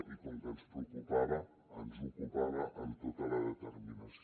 i com que ens preocupava ens ocupava amb tota la determinació